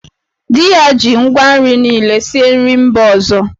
Di ya ji ngwa nri niile sie nri ndị mba ọzọ.